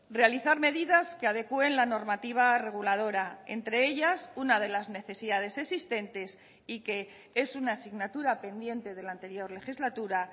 realizar medidas que adecúen la normativa reguladora entre ellas una de las necesidades existentes y que es una asignatura pendiente de la anterior legislatura